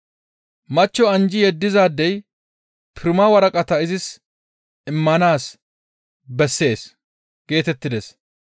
« ‹Machcho anjji yeddizaadey pirma waraqata izis immana bessees› geetettides.